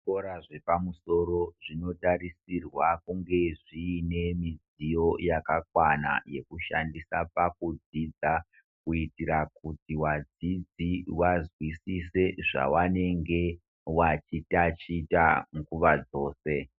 Zvikora zvepamusoro zvinotarisirwa kunge zviine midziyo yakakwana yekushandisa pakudzidza kuitira kuti wadzidzi wazwisise zvawanenge wachi tachita nguwa dzose.